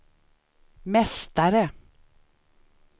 mästare